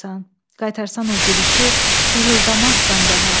Qaytarsan o gülüşü hırıldamazsan daha.